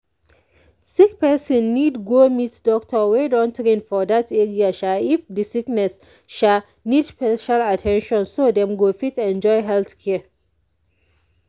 sick person need go meet doctor wey don train for that area sha if the sickness sha need special at ten tion so dem go fit enjoy health care.